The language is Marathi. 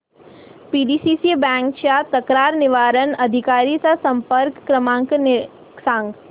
पीडीसीसी बँक च्या तक्रार निवारण अधिकारी चा संपर्क क्रमांक सांग